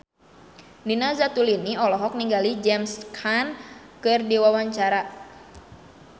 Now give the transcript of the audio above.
Nina Zatulini olohok ningali James Caan keur diwawancara